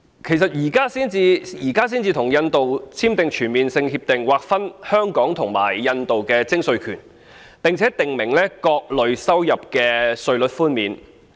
為甚麼現在才與印度簽訂全面性協定，劃分香港與印度的徵稅權，並訂明各類收入的稅率寬免？